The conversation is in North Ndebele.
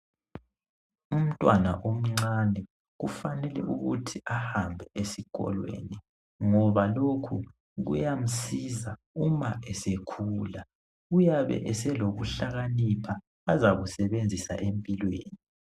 Umntwana omncani kufanele ukuthi ahambe esikolo ngoba lokhu kuyamsiza uma esekhula uyabe eselokuhlakanipha azakusebenzisa empilweni.